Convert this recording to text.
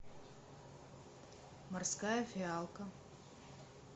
морская фиалка